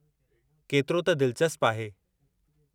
केतिरो त दिलचस्प आहे!